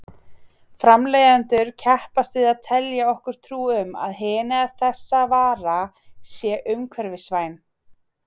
Framleiðendur keppast við að telja okkur trú um að hin eða þessa vara sé umhverfisvæn.